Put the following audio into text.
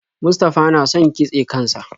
Mustafa na son kitse kan sa.